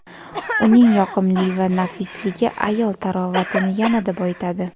Uning yoqimli va nafisligi ayol tarovatini yanada boyitadi.